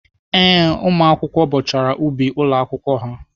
Ee, ụmụakwụkwọ bọchara ubi ụlọ akwụkwọ ha.